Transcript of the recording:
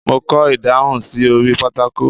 Mo kọ ìdáhùn sí orí pátákó.